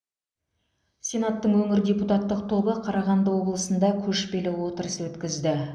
сенаттың өңір депутаттық тобы қарағанды облысында көшпелі отырыс өткізді